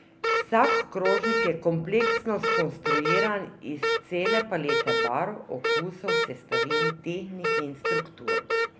Vsak krožnik je kompleksno skonstruiran iz cele palete barv, okusov, sestavin, tehnik in struktur.